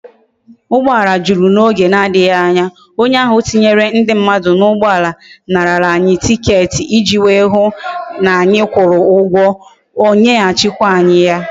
Ugboala juru na oge na adighi anya, onye ahu tinyere ndi mmadu na ugboala nara anyi ticket iji wee hu ta na anyi kwuru ugwo, onye ha chi kwa anyi ya